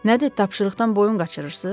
Nədir, tapşırıqdan boyun qaçırırsız?